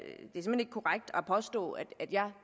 påstå at jeg